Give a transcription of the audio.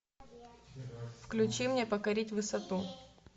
включи мне покорить высоту